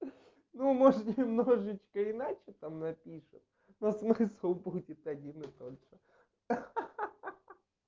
ну может немножечко иначе там напишут но смысл будет один и тот же ха-ха